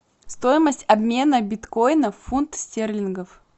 стоимость обмена биткоина в фунт стерлингов